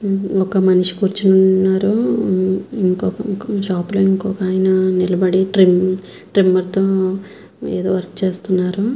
ఒక మనిషి కురుచొని వున్నాడు ఇంకొక ఆయన నిలబడి మొత్తం ఏదో వర్క్ చేస్తునాడు.